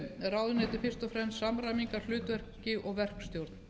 ráðuneyti fyrst og fremst samræmingarhlutverki og verkstjórn